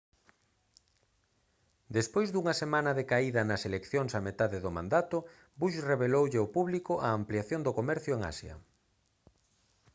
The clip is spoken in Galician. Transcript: despois dunha semana de caída nas eleccións a metade do mandato bush reveloulle ao público a ampliación do comercio en asia